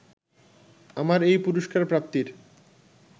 আমার এই পুরস্কারপ্রাপ্তির